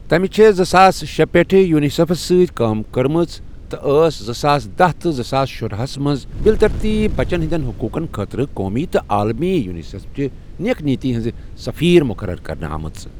تمہِ چھےٚ زٕساس شے پیٚٹھٕ یوٗنِسیٚفس سٟتؠ کٲم کٔرمٕژ تہٕ ٲس زٕساس دہَ تہٕ زٕساس شُرا ہسَ منٛز بِل ترتیٖب بَچن ہِنٛدیٚن حٔقوٗقن خٲطرٕ قومی تہٕ عالمی یوٗنِسیٚفچہِ نیک نِیَتی ہِنٛز سٔفیٖر مُقرر کرنہٕ آمٕژ۔